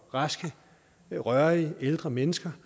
raske rørige ældre mennesker